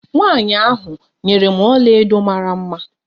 Nwanyi ahụ nyere m ọlaedo dị mara mma.